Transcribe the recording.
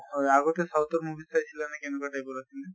হয় আগতে south ৰ movie চাইছিলা নে কেনেকুৱা type ৰ আছিলে?